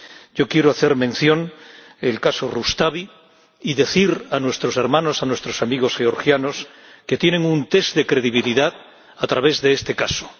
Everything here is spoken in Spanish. Yo quiero hacer mención del caso Rustavi y decir a nuestros hermanos, a nuestros amigos georgianos que se enfrentan a un test de credibilidad a través de este caso.